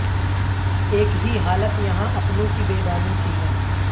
ایک ہی حالت یہاں اپنوں کی بیگانوں کی ہے